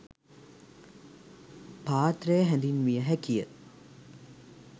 පාත්‍රය හැඳින්විය හැකිය.